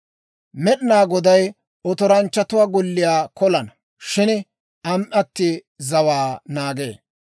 Med'inaa Goday otoranchchatuwaa golliyaa kolana; shin am"atii zawaa naagee.